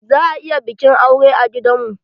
Za ayi bikin aure a gidan mu.